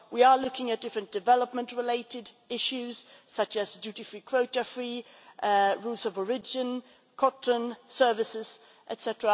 We are looking at different development related issues such as duty free quotas, free rules of origin, cotton, services, etc.